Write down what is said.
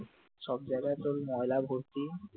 সব জায়গায় তোর ময়লা ভর্তি,